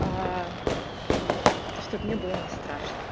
а чтоб мне было не страшно